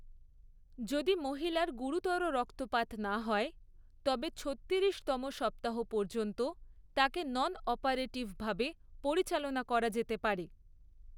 যদি মহিলার গুরুতর রক্তপাত না হয়, তবে ছত্তিরিশতম সপ্তাহ পর্যন্ত তাকে নন অপারেটিভভাবে পরিচালনা করা যেতে পারে।